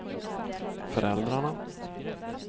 föräldrarna